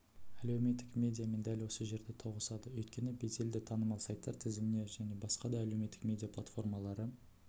әлеуметтік медиа мен дәл осы жерде тоғысады өйткені беделді танымал сайттар тізіміне және басқа да әлеуметтік медиа платформалары